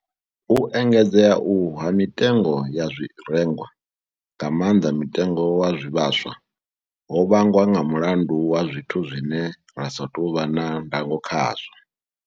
U engedzea uhu ha mitengo ya zwirengwa, nga maanḓa mutengo wa zwivhaswa, ho vhangwa nga mulandu wa zwithu zwine ra sa tou vha na ndango khazwo.